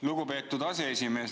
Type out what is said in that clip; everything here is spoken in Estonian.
Lugupeetud aseesimees!